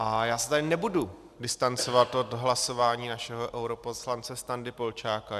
A já se tady nebudu distancovat od hlasování našeho europoslance Standy Polčáka.